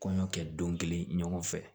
Kɔɲɔ kɛ don kelen ɲɔgɔn fɛ